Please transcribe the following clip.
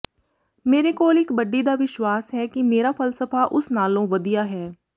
ਮੇਰੇ ਕੋਲ ਇਕ ਬੱਡੀ ਦਾ ਵਿਸ਼ਵਾਸ ਹੈ ਕਿ ਮੇਰਾ ਫ਼ਲਸਫ਼ਾ ਉਸ ਨਾਲੋਂ ਵਧੀਆ ਹੈ